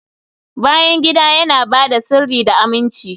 bayan gida yana ba da sirri da aminci